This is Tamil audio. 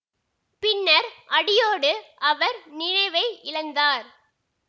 பின்னர் அடியோடு அவர் நினைவை இழந்தார்